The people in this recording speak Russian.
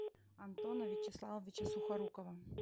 антона вячеславовича сухорукова